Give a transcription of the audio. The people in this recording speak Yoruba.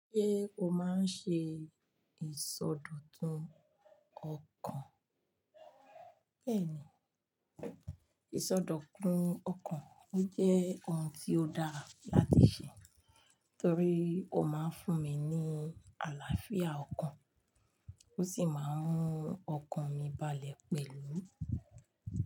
Ṣé o máa ń ṣe ìsọdọ̀tun ọkàn? Bẹ́ẹ̀ni, ìsọdọ̀tun ọkàn jẹ́ ohun tí ó dáa láti ṣe torí ó máa ń fún mi ní àlàáfíà ọkàn ó sì máa ń mú ọkàn mi balẹ̀ pẹ̀lú.